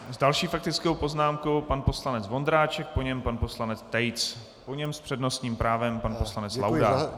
S další faktickou poznámkou pan poslanec Vondráček, po něm pan poslanec Tejc, po něm s přednostním právem pan poslanec Laudát.